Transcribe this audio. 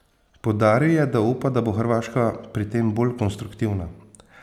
Poudaril je, da upa, da bo Hrvaška pri tem bolj konstruktivna.